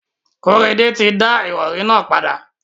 Kóredé ti da ìrọrí nà padà.